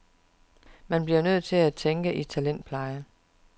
Man bliver nødt til at tænke i talentpleje.